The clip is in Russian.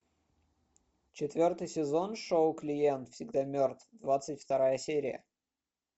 четвертый сезон шоу клиент всегда мертв двадцать вторая серия